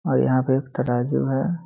और यहाँ पे एक तराजू है।